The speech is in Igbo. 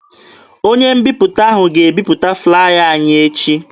Onye mbiputa ahụ ga-ebiputa flaya anyị echi.